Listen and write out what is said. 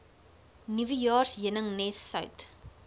nuwejaars heuningnes sout